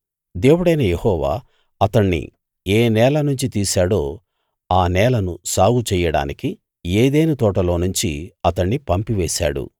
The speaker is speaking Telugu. దేవుడైన యెహోవా అతణ్ణి ఏ నేలనుంచి తీశాడో ఆ నేలను సాగు చెయ్యడానికి ఏదెను తోటలోనుంచి అతణ్ణి పంపివేశాడు